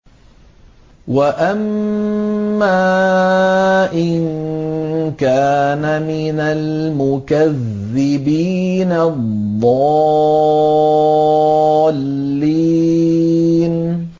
وَأَمَّا إِن كَانَ مِنَ الْمُكَذِّبِينَ الضَّالِّينَ